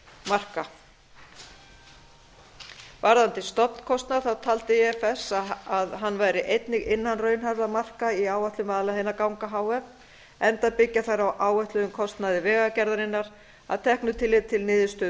marka varðandi stofnkostnað taldi ifs að hann væri einnig innan raunhæfra marka í áætlunum vaðlaheiðarganga h f enda byggja þær á áætluðum kostnaði vegagerðarinnar að teknu tilliti til niðurstöðu